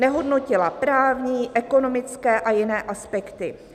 "Nehodnotila právní, ekonomické a jiné aspekty."